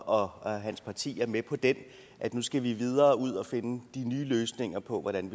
og og hans parti er med på den at nu skal vi videre ud og finde de nye løsninger på hvordan